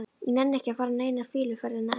Ég nenni ekki að fara eina fýluferðina enn.